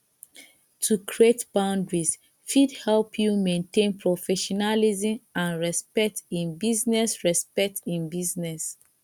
to create boundaries fit help you maintain professionalism and respect in business respect in business